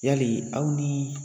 Yali aw ni